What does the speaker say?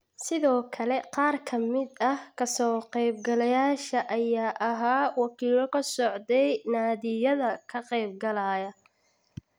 Sidoo kale qaar ka mid ah ka soo qeyb galayaasha ayaa ahaa wakiilo ka socday naadiyada ka qeyb galaya